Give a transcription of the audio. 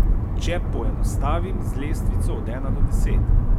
Če poenostavim z lestvico od ena do deset.